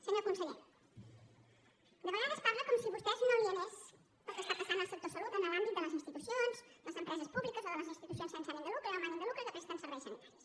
senyor conseller de vegades parla com si a vostè no li anés el que està passant al sector salut en l’àmbit de les institucions de les empreses públiques o de les institucions sense ànim de lucre o amb ànim de lucre que presten serveis sanitaris